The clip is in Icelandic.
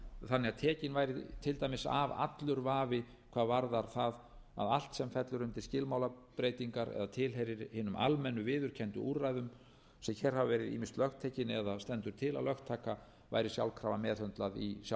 þannig að tekinn væri til dæmis af allur vafi hvað varðar það að allt sem fellur undir skilmálabreytingar eða tilheyrir hinum almennu viðurkenndu úrræðum sem hér hafa ýmist verið lögtekin eða stendur til að lögtaka væri sjálfkrafa meðhöndlað í sjálfum